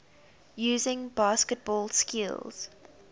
using basketball skills